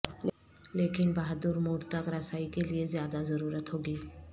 لیکن بہادر موڈ تک رسائی کے لئے زیادہ ضرورت ہوگی